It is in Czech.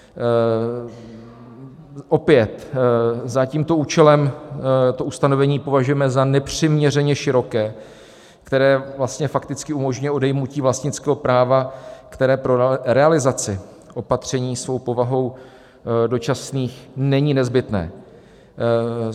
Opět za tímto účelem to ustanovení považujeme za nepřiměřeně široké, které vlastně fakticky umožňuje odejmutí vlastnického práva, které pro realizaci opatření svou povahou dočasných není nezbytné.